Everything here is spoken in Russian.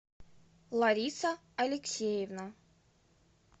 лариса алексеевна